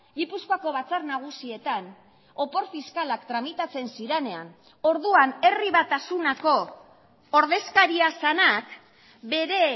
gipuzkoako batzar nagusietan opor fiskalak tramitatzen zirenean orduan herri batasunako ordezkaria zenak bere